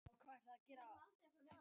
Ég er honum þakklátur fyrir það.